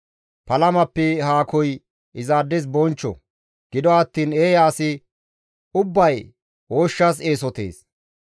Palamappe haakoy izaades bonchcho; gido attiin eeya asi ubbay ooshshas eesotees.